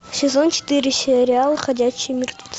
сезон четыре сериал ходячие мертвецы